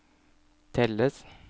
telles